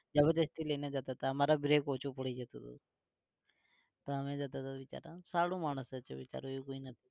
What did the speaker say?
જબરદસ્તી લઈને જતાં હતા અમારા break ઓછું પડી જતું હતું. પણ અમે જતાં હતા બિચારા. સારું માણસ છે બિચારો એવું કઈ નથી